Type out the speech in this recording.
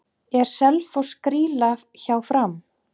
Er Selfoss grýla hjá Fram?